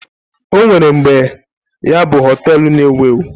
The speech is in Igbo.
O nwere mgbe ya bụ họtel na-ewu ewu.